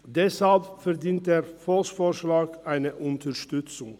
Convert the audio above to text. Deshalb verdient der Volksschlag eine Unterstützung.